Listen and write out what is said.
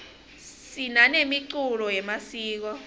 sinanemiculo yemasiko